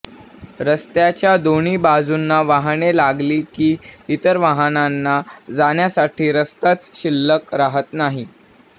रस्त्याच्या दोन्ही बाजूंना वाहने लागली की इतर वाहनांना जाण्यासाठी रस्ताच शिल्लक राहत नाही